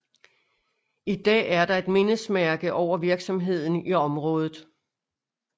I dag er der et mindesmærke over virksomheden i området